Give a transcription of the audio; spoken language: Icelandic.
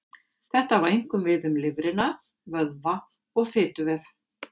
Þetta á einkum við um lifrina, vöðva og fituvef.